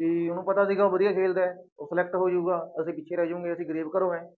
ਵੀ ਉਹਨੂੰ ਪਤਾ ਸੀਗਾ ਉਹ ਵਧੀਆ ਖੇਲਦਾ ਹੈ ਉਹ select ਹੋ ਜਾਊਗਾ, ਅਸੀਂ ਪਿੱਛੇ ਰਹਿ ਜਾਊਂਗੇ ਅਸੀਂ ਗ਼ਰੀਬ ਘਰੋਂ ਹੈ।